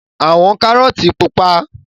Àwọn kárọ́tì pupa.